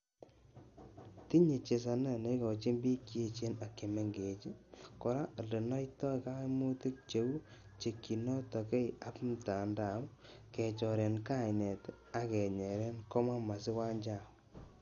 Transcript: Tinye chesaanet neigoochin piik cheechen ak chemengecheen koroo olenaitaai kaaimuutik cheuu tyekchinotkei ap mtandao , kechoorenen kaineet ak kenyeere." komwa Mercy Wanjau.